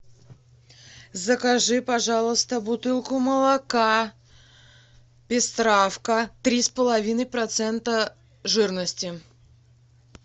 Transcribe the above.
закажи пожалуйста бутылку молока пестравка три с половиной процента жирности